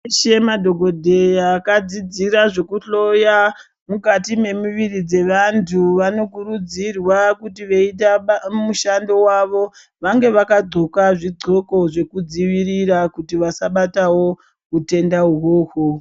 Semadhokodheya akadzidzira zvekuhloya mukati memuviri dzevantu, vanokurudzirwa kuti veitamba mushando wavo vange vaka xoka zvixoko, zvekudzivirira kuti vasabatawo wutenda wowo.